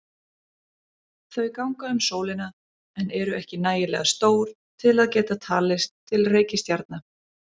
Þau ganga um sólina en eru ekki nægilega stór til að geta talist til reikistjarna.